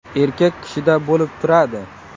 Erkak kishida bo‘lib turadi.